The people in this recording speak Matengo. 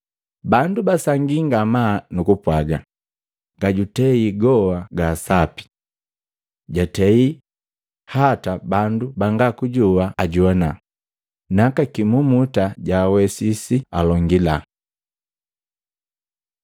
Bandu basangii ngamaa nukupwaga, “Gajutei goa gaasapi. Jaatei hataa bandu banga kujoa ajogwana, naka kimumuta jwaawesisi alongila!”